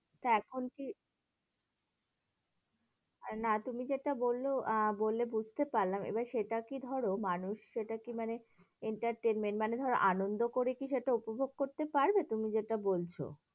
তা এখন কি, আরে না তুমি যেটা বললো আ বললে বুঝতে পারলাম, এবার সেটা কি ধরো মানুষ সেটা কি মানে entertainment মানে ধরো আনন্দ করে কিছু একটা উপভোগ করতে পারবে তুমি যেটা বলছো।